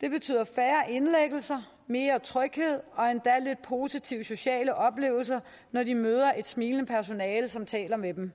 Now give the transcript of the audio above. det betyder færre indlæggelser mere tryghed og endda lidt positive sociale oplevelser når de møder et smilende personale som taler med dem